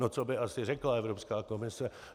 No co by asi řekla Evropská komise?